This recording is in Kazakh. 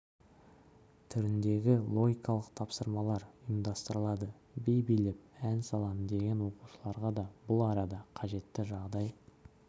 түріндегі логикалық тапсырмалар ұйымдастырылады би билеп ән салам деген оқушыларға да бұл арада қажетті жағдай